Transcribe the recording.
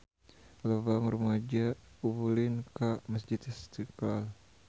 Loba rumaja ulin ka Masjid Istiqlal